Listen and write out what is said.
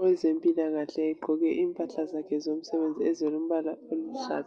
Owezempilakahle egqoke impahla zakhe zomsebenzi ezilombala oluhlaza.